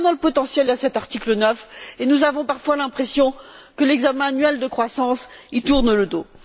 Dans le potentiel de cet article 9, nous avons parfois l'impression que l'examen annuel de croissance lui tourne le dos.